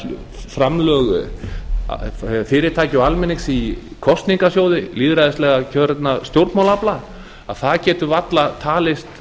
framlög fyrirtækja og almennings í kosningasjóði lýðræðislega kjörinna stjórnmálaafla það getur varla talist